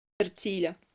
эртиля